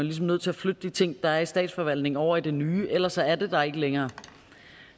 ligesom nødt til at flytte de ting der er i statsforvaltningen over i det nye ellers er det der ikke længere